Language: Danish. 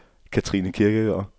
Katrine Kirkegaard